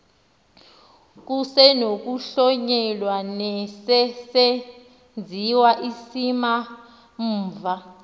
kusenokuhlonyelwa nesesenziwa isimamva